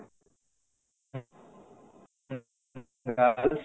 girls